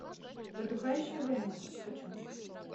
затухающий огонек хочу